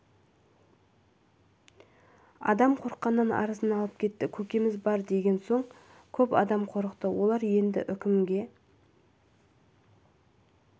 адам қорыққанынан арызын алып кетті көкеміз бар деген соң көп адам қорықты олар енді үкімге